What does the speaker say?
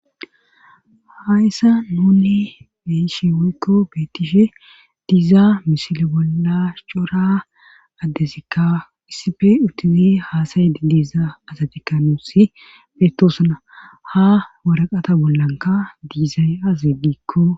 Hayssa nunni be'ishe woykko beettishe diizaa misile bolla cora addezikka issife utizi haasayidi diizaa asatikkanuusi beettosana ha waraqata bollanka diizay azi diikko.